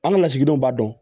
An ka lasigidenw b'a dɔn